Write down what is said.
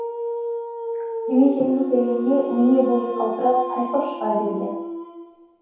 жеме жемге келгенде өне бойы қалтырап тайқып шыға берген